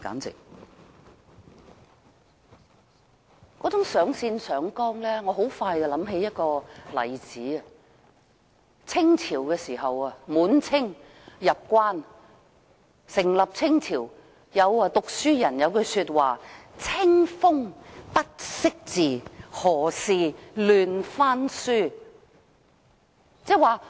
這種上綱上線，讓我很快想起一個例子，就是在滿清入關成立清朝之初，有讀書人寫了一句話，"清風不識字，何事亂翻書"。